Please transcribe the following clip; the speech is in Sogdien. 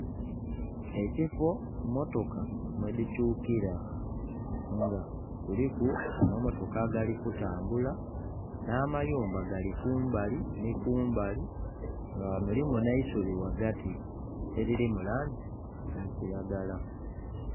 Ekifo mmotoka mwedhikyukira, nga kuliku amamotoka agali kutambula nh'amayumba gali kumbali nhi kumbali nga mulimu nh'eisubi ghagati eriri mu langi ya kiragala.